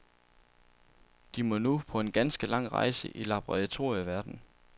De må nu på en ganske lang rejse i laboratorieverdenen.